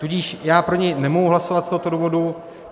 Tudíž já pro něj nemohu hlasovat z tohoto důvodu.